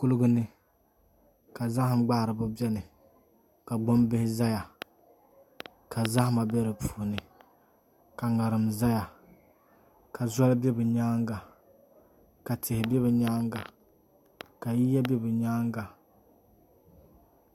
Kuligi ni ka zaham gbaharibi biɛni ka gbambihi ʒɛya ka zahama bɛ di puuni ka ŋarim ʒɛya ka zoli bɛ bi nyaanga ka tihi bɛ bi nyaanga ka yiya bɛ bi nyaanga